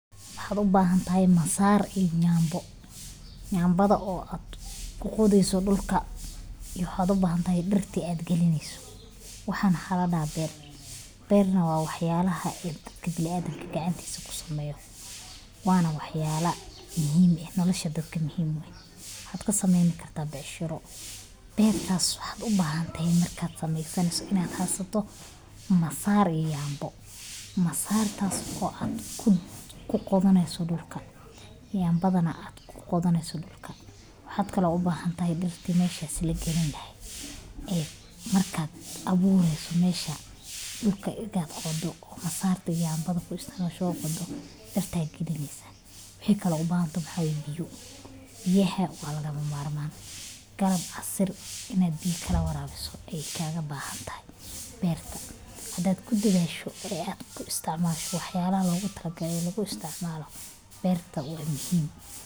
Maxaa u baahan tahay masaar iyo jaambo jaanbada oo aad ku quudayso dhulka. Yuu hoodo baahantahay dirti aad gelinayso? Waxaan xalanaa beer. Beer nowaa waxyaabala aad ka geli bilaadanka gacantiisa ku sameeyo. Waana waxyaalo muhiim ah nolosha dabka muhiim wayn had ka samaymi kartaa biisharo. Beer taas waxaad u baahan tahay markaad samaysanayso inaad haato masaar iyo jaambo. Masaar taas oo aad kun ku qodaneysu dhulka jaambadana aad ku qodoneysu dhulka. Waxaad kale u baahan tahay dirti mayhsha si la gelin lahayd ee markaad abuureyso mayhsha dhulka igaga koodo. Masaartu iyo Jaambada ku istamaashoo koodo dartay gidanaysa. Wixii kale u baahan tu waxawe biyo. biyaha, waad alaga maarmaan. Galab asr inaad biya kala waraabo ay kaaga baahan tahay beerta. Haddaad ku digaysho e ku isticmaasho waxyaalla loogu talagalay lagu isticmaalno beerta waa muhiim.